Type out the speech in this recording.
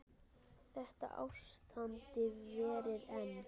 Þetta ástand varir enn.